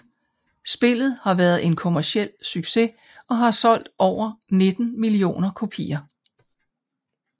Spillet har været en kommerciel succes og har solgt over 19 millioner kopier